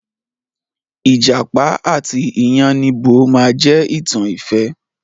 Ìjàpá àti iyánníbo máa je ìtàn ìfẹ́.